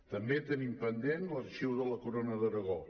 també tenim pendent l’arxiu de la corona d’aragó